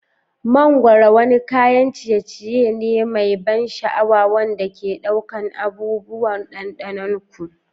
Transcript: Mangwaro wani kayan ciye ciye ne mai ban sha'awa wanda ke ɗaukar abubuwan ɗanɗanon ku